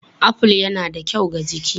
Aful yana da kyau ga jiki.